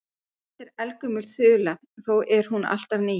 Þetta er eldgömul þula þó er hún alltaf ný.